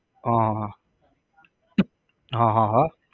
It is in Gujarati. હ હ હ, હ હ હ